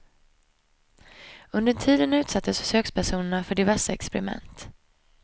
Under tiden utsattes försökspersonerna för diverse experiment.